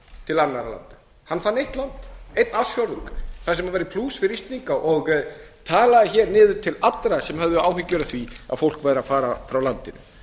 til annarra landa hann fann eitt land eitt ársfjórðung þar sem væru plús fyrir íslendinga og talaði niður til allra sem höfðu áhyggjur af því að fólk væri að fara frá landinu